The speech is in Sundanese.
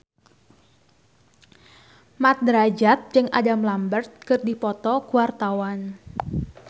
Mat Drajat jeung Adam Lambert keur dipoto ku wartawan